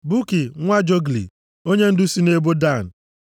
Buki nwa Jogli, onyendu si nʼebo Dan.